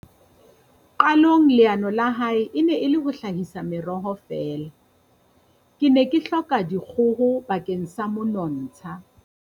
Qalong leano la hae e ne e le ho hlahisa meroho fela. "Ke ne ke hloka dikgoho bakeng sa monontsha.